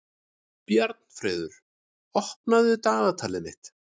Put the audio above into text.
Bjarnfreður, opnaðu dagatalið mitt.